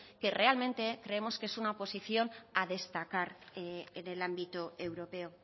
que realmente creemos que es una posición a destacar en el ámbito europeo